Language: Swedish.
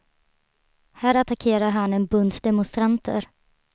Här attackerar han en bunt demonstranter.